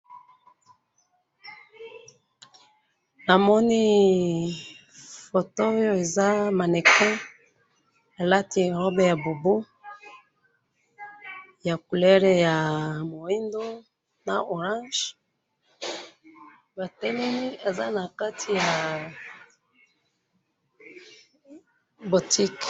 namoni photo oyo eza mannequin, elati robe ya bubu ya couleur ya muindo, na orange, batelemi eza nakati ya boutique